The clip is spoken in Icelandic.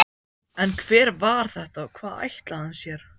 En hver var þetta og hvað ætlaði hann sér?